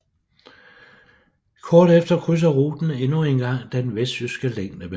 Kort efter krydser ruten endnu en gang den vestjyske længdebane